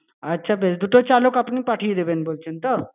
আছে বেশ, দুটো চালক আপনি পাঠিয়ে দেবেন বলছেন তো?